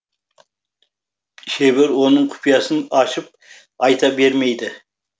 шебер оның құпиясын ашып айта бермейді